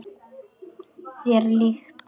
Þér líkt.